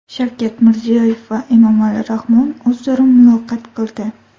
Shavkat Mirziyoyev va Emomali Rahmon o‘zaro muloqot qildi.